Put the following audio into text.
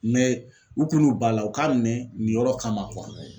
u kun n'u ban a la u k'a minɛ nin yɔrɔ kama